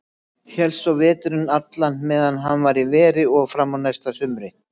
Hélst svo veturinn allan meðan hann var í veri og fram eftir næsta sumri.